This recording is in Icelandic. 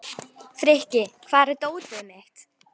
Frikki, hvar er dótið mitt?